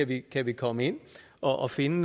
vi kan komme ind og finde